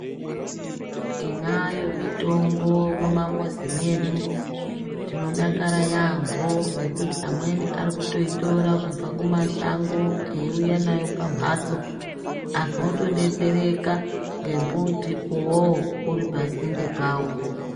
Tinayo mutombo mumamuzi mwedu tinodakara yambo ngekuti amweni ari kutoitora kubva kumashango eiuya nayo pamhatso antu otodetsereka ngembuti uwowo uri pasinde pavo.